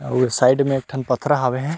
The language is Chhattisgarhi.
आऊ साइड में एक ठन पथरा हावे हे।